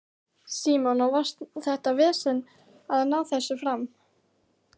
Símon: Og var þetta vesen að ná þessu fram?